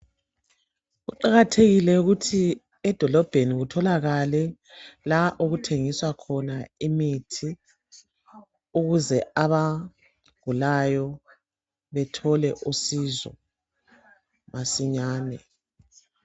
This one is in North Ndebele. Kuqakathekile ukuthi edolobheni kutholakale la okuthengiswa khona imithi ukuze abagulayo bathole usizo masinyane.